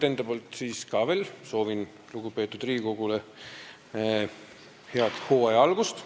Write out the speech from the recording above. Kõigepealt soovin ka lugupeetud Riigikogule head hooaja algust.